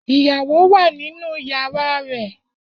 Iyawo wa ninu yara rẹ.